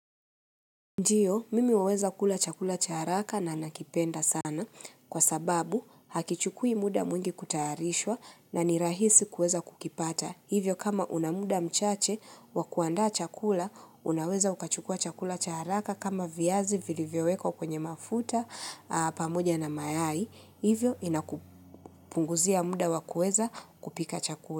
Ndio, mimi huweza kula chakula cha haraka na nakipenda sana kwa sababu hakichukui muda mwingi kutayarishwa na ni rahisi kuweza kukipata. Hivyo kama unamuda mchache wakuanda chakula, unaweza ukachukua chakula cha haraka kama viazi vilivyowekwa kwenye mafuta, pamoja na mayai. Hivyo inakupunguzia muda wakuweza kupika chakula.